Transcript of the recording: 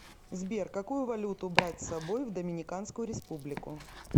сбер какую валюту брать с собой в доминиканскую республику